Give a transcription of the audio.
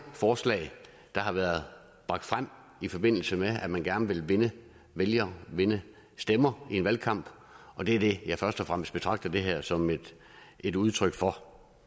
forslag frem i forbindelse med at man gerne vil vinde vælgere for vinde stemmer i en valgkamp og det er det jeg først og fremmest betragter det her som et udtryk for